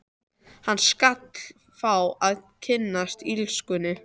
Hann skal fá að kynnast illskunni.